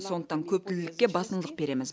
сондықтан көптілділікке басымдық береміз